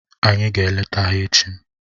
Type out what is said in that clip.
Anyị ga-eleta ha echi.